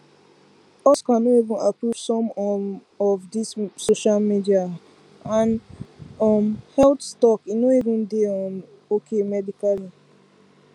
oscar no even approve some um of this social media um health talk e no even dey um okay medically